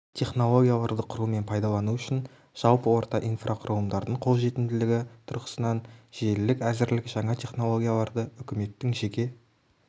технологияларды құру мен пайдалану үшін жалпы орта инфрақұрылымдардың қолжетімділігі тұрғысынан желілік әзірлік жаңа технологияларды үкіметтің жеке